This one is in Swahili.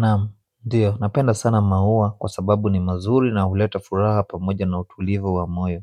Naam ndiyo napenda sana maua kwa sababu ni mazuri na huleta furaha pamoja na utulivu wa moyo.